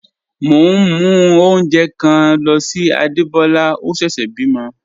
Mo n mú ọ̀unjẹ̣́ kan ló sí Ádébólá, ọ̀ sẹ́sè bímo.